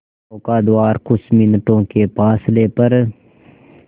नौका द्वारा कुछ मिनटों के फासले पर